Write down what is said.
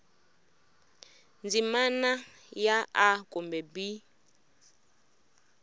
ndzimana ya a kumbe b